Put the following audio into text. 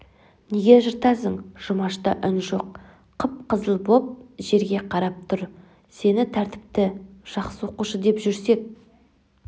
неге жыртасың жұмашта үн жоқ қып-қызыл боп жерге карап тұр сені тәртіпті жақсы оқушы деп жүрсек